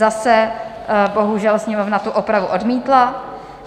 Zase, bohužel, Sněmovna tu opravu odmítla.